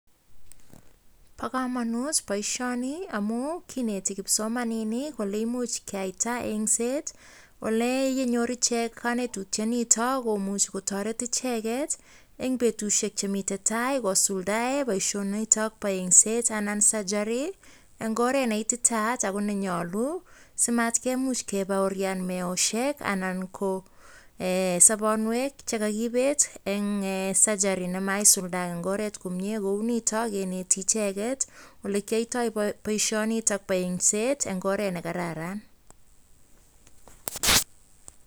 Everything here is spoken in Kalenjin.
Bo komonut boishoni amun kineti kipsomaninik Kole imuche keyaita engset ole inyoru ichek kanetotyet niton komuch kotaret ichek choton en betusiek Chemiten Tai kosulda boishonik niton Nebo engset anan sugary en oret NE ititayat ako NE nyonu si matkemuch kebaorian meoshek ana ko sobonuek chekokibet en sugary nemaisulda en oret komnye Kouniton keneti icheget olekiyoito boishoni iton Bo engset en oret NE kararan.